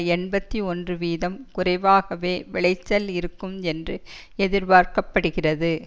எண்பத்தி ஒன்று வீதம் குறைவாகவே விளைச்சல் இருக்கும் என்று எதிர்பார்க்க படுகிறது